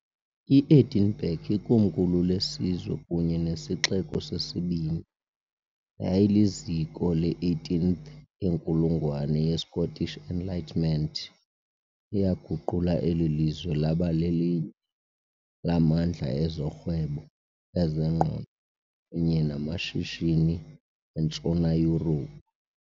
I-Edinburgh, ikomkhulu lesizwe kunye nesixeko sesibini, yayiliziko le -18th yenkulungwane ye- Scottish Enlightenment, eyaguqula eli lizwe laba lelinye lamandla ezorhwebo, ezengqondo kunye namashishini eNtshona Yurophu.